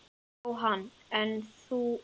Jóhann: En þú?